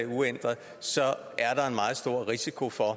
uændret er der en meget stor risiko for at